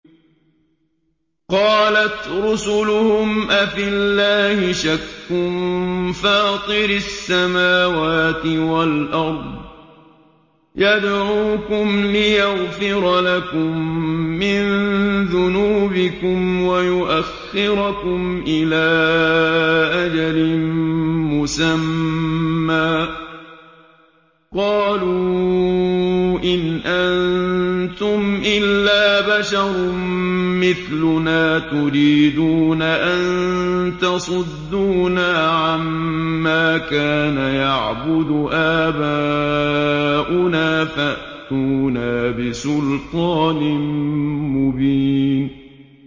۞ قَالَتْ رُسُلُهُمْ أَفِي اللَّهِ شَكٌّ فَاطِرِ السَّمَاوَاتِ وَالْأَرْضِ ۖ يَدْعُوكُمْ لِيَغْفِرَ لَكُم مِّن ذُنُوبِكُمْ وَيُؤَخِّرَكُمْ إِلَىٰ أَجَلٍ مُّسَمًّى ۚ قَالُوا إِنْ أَنتُمْ إِلَّا بَشَرٌ مِّثْلُنَا تُرِيدُونَ أَن تَصُدُّونَا عَمَّا كَانَ يَعْبُدُ آبَاؤُنَا فَأْتُونَا بِسُلْطَانٍ مُّبِينٍ